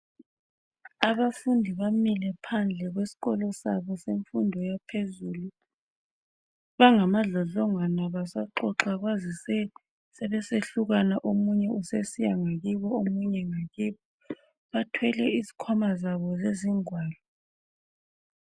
Abafundi bamile phandle kwesikolo sabo semfundo ephezulu, bangama dlodlongwana basaxoxa kwazise sebesehlukana omunye usesiya ngakibo omunye ngakibo, bathwele izikhwama zabo zezingwalo.